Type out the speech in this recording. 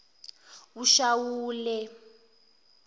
eshawule